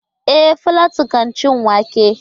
E, Falatu kan ci wake?